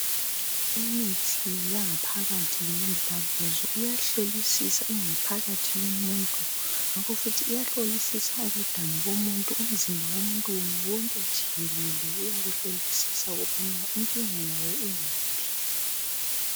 Imithi yangaphakathi njengomdlavuzo iyahlolisisa ingaphakathi yomuntu ngakofuthi iyahlolisisa ukudana kumuntu .Umzimba womuntu wona wonke jikelele ,uyawuhlolisisa ukubana inkinga yawo ungaphi.